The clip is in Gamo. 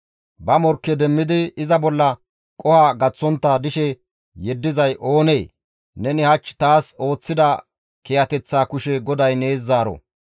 Ba morkke demmidi iza bolla qoho gaththontta dishe yeddizay oonee? Neni hach taas ooththida kiyateththaa kushe GODAY nees zaaro.